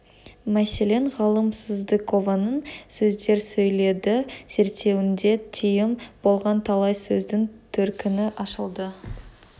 мәселен ғалым сыздықованың сөздер сөйлейді зерттеуінде тиым болған талай сөздің төркіні ашылды